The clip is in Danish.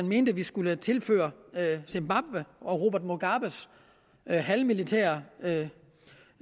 mente at vi skulle tilføre zimbabwe og robert mugabes halvmilitære